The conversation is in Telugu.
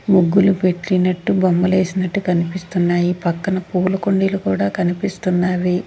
ముగ్గులు పెట్టినట్టు బొమ్మలు వేసినట్టు కనిపిస్తున్నాయి పక్కన పూల కుండీలు కూడా కనిపిస్తున్నావి.